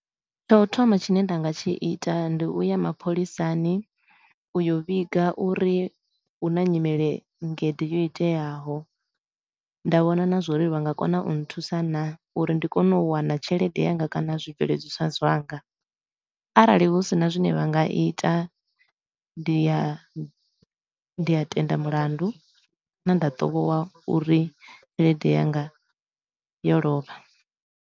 Tshau thoma tshine nda nga tshi ita ndi u ya mapholisani u yo vhiga uri hu na nyimele nngede yo iteaho. Nda vhona na zwa uri vha nga kona u nthusa naa uri ndi kone u wana tshelede yanga kana zwibveledzwa zwanga. Arali hu sina zwine vha nga ita ndi a ndi a tenda mulandu kana nda tovhowa uri tshelede yanga yo lovha.